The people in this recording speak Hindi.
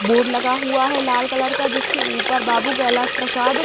बोर्ड लगा हुआ है लाल कलर का जिसके ऊपर बाबू कैलाश प्रसाद --